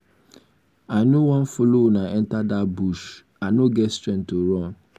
i no wan follow una enter dat bush i no get strength to run.